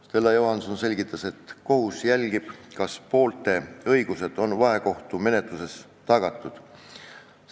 Stella Johanson selgitas, et kohus jälgib, kas poolte õigused on vahekohtumenetluses tagatud.